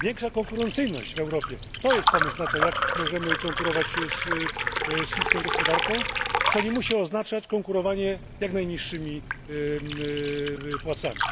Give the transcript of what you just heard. Większa konkurencyjność w Europie to pomysł na to, jak możemy konkurować z chińską gospodarką, co nie musi oznaczać konkurowania jak najniższymi płacami.